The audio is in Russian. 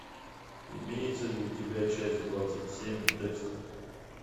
имеется ли у тебя часть двадцать семь декстер